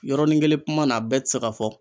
Yɔrɔnin kelen kuma na a bɛɛ ti se ka fɔ.